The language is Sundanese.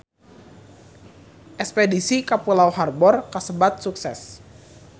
Espedisi ka Pulau Harbour kasebat sukses